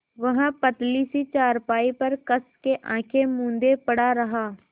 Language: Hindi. वह पतली सी चारपाई पर कस के आँखें मूँदे पड़ा रहा